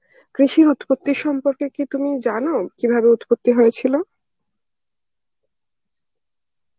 কৃষির উৎপত্তি সম্পর্কে কি তুমি জানো, কীভাবে উৎপত্তি হয়েছিল?